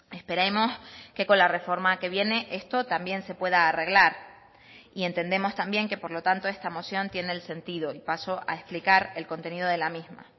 esperemos que con la reforma que viene esto también se pueda arreglar y entendemos también que por lo tanto esta moción tiene el sentido y paso a explicar el contenido de la misma